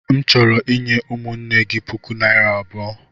M chọrọ inye ụmụnne gị puku naira abụo.